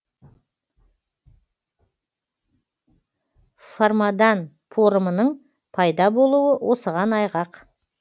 формадан порымның пайда болуы осыған айғақ